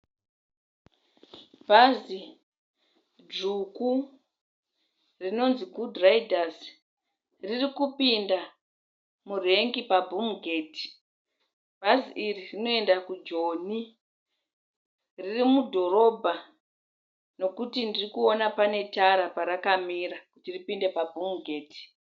Bhazi dzvuku rinonzi Gudhu raidhasi ririkupinda murengi pabhumugeti. Bhazi iri rinoenda kuJoni. Riri mudhorobha nokuti ndirikuona pane tara parakamira kuti ripinde pabhumugeti.